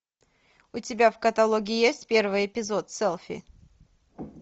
у тебя в каталоге есть первый эпизод селфи